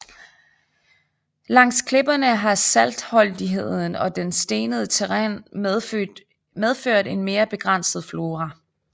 Langs klipperne har saltholdigheden og det stenede terræn medført en mere begrænset flora